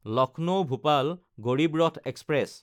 Lucknow-Bhopal Garib Rath express